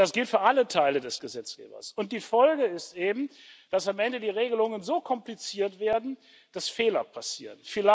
Das gilt für alle Teile des Gesetzgebers, und die Folge ist eben, dass am Ende die Regelungen so kompliziert werden, dass Fehler passieren.